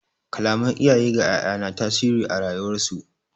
Kalaman iyaye ga 'ya'ya na tasiri a rayuwar su.